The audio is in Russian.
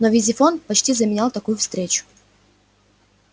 но визифон почти заменял такую встречу